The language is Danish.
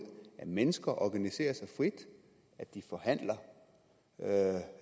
at mennesker organiserer sig frit at de forhandler